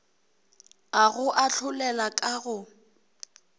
a go ahlolela ka go